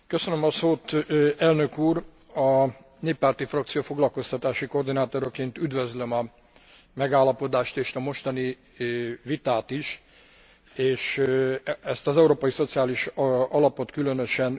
A néppárti frakció foglalkoztatási koordinátoraként üdvözlöm a megállapodást és a mostani vitát is, és ezt az Európai Szociális Alapot különösen.